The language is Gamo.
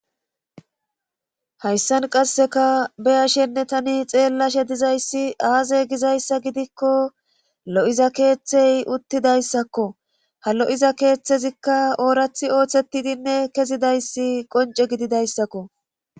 Hayssan qasseka beya shenne tani xeellashe dizayssi aaze gizayssa gidikko lo7iza keeththey uttidayssakko ha lo7iza keeththezikka oorathi ooththetidinne kezidayssi qonce gididayssakko.